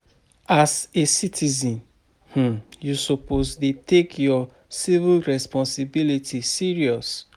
As a citizen,[um] you suppose dey take your civic responsibility serious